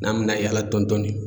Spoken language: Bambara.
N'an mi na yaala dɔn dɔni